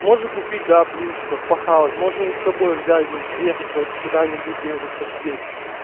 можно купить да блинчиков похавать можно их собой взять ну поехать в эту куда-нибудь где-нибудь посидеть